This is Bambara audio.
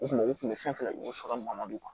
U kun u kun bɛ fɛn fɛn sɔrɔ